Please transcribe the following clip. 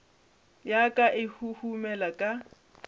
ya ka e huhumela ka